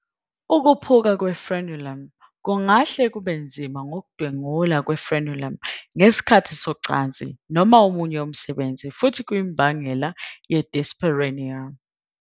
Ukuphuka kwe-Frenulum kungahle kube nzima ngokudwengula kwe-frenulum ngesikhathi socansi noma omunye umsebenzi futhi kuyimbangela ye- dyspareunia.